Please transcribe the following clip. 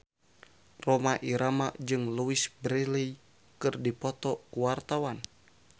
Rhoma Irama jeung Louise Brealey keur dipoto ku wartawan